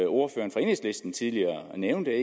ordføreren for enhedslisten tidligere nævnte